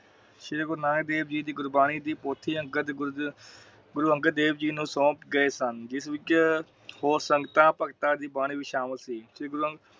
ਸ਼੍ਰੀ ਗੁਰੂ ਨਾਨਕ ਦੇਵ ਜੀ ਦੀ ਗੁਰਬਾਣੀ ਦੀ ਪੋਥੀਆਂ ਗੁਰੂ ਅੰਗਦ ਦੇਵ ਜੀ ਨੂੰ ਸੌਂਪ ਗਏ ਸਨ ਜਿਸ ਵਿਚ ਹੋਰ ਸੰਗਤਾਂ ਭਗਤਾਂ ਦੀ ਬਾਣੀ ਸ਼ਾਮਿਲ ਸੀ। ਸ਼੍ਰੀ